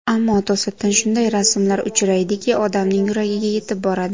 Ammo to‘satdan shunday rasmlar uchraydiki, odamning yuragiga yetib boradi.